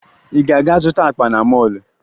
Ị ga-aga zụta akpa na mọọlụ?